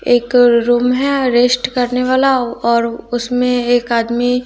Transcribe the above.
एक रूम है रेस्ट करने वाला और उसमें एक आदमी--